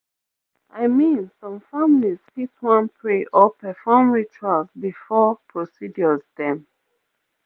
i mean some families fit wan pray or perform rituals before procedures dem